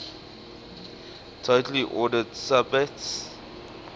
totally ordered subset